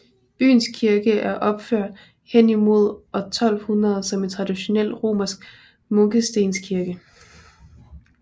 Byens kirke er opført henimod år 1200 som en traditionel romansk munkestenskirke